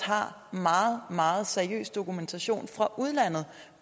meget meget seriøs dokumentation fra udlandet